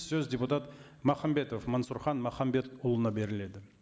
сөз депутат махамбетов мансұрхан махамбетұлына беріледі